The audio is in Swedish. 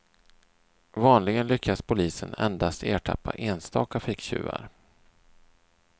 Vanligen lyckas polisen endast ertappa enstaka ficktjuvar.